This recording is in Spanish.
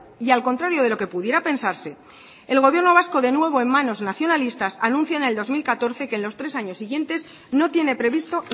y al contrario de lo que pudiera pensarse el gobierno vasco de nuevo en manos nacionalistas anuncia en el dos mil catorce que en los tres años siguientes no tiene previsto